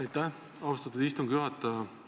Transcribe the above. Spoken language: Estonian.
Aitäh, austatud istungi juhataja!